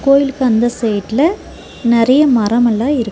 கோயிலுக்கு அந்த சைட்ல நெறைய மரமெல்லா இருக்கு.